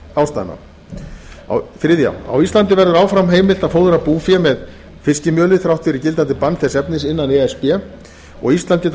heilbrigðisástæðna þriðji á íslandi verður áfram heimilt að fóðra búfé með fiskimjöli þrátt fyrir gildandi bann þess efnis innan e s b og ísland getur